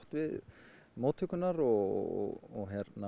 við móttökurnar og